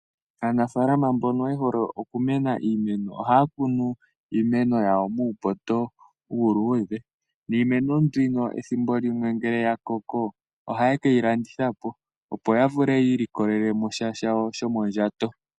Aanafalama mbono ye hole oku kuna iimeno, ohaya kunu iimeno yawo muu poto uuludhe, niimeno mbino ethimbo limwe ngele ya koko, ohaye keyi landitha po opo ya vule ya ili kolele mo sha shawo sho mondjato.